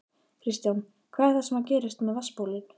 Kristján: Hvað er það sem gerist með vatnsbólin?